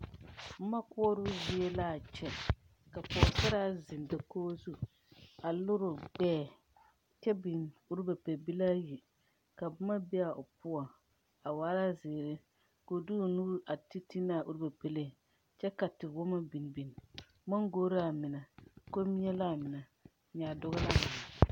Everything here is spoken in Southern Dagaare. Bomma koɔroo zie laa kyɛ ka pogsaraa zeŋ dakoge zu a lireoo gbɛɛ kyɛ biŋ ruba pɛbilaayi ka bomma bee a o poɔŋ a waala zeere ko de o nuure a te te naa ruba pɛlee kyɛ ka te wɔmma biŋ biŋ mangore laa mine, kommie laa mine, nyaadoɔ laa mine.